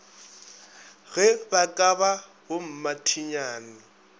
ge ba ka ba bommathinyane